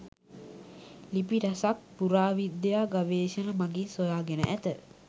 ලිපි රැසක් පුරා විද්‍යා ගවේශණ මගින් සොයගෙන ඇත.